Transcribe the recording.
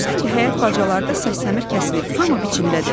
Görürsən ki, həyət bacalarda səsləmir kəsilib, hamı biçindədir.